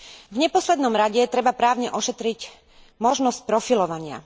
V neposlednom rade treba právne ošetriť možnosť profilovania.